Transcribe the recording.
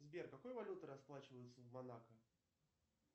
сбер какой валютой расплачиваются в монако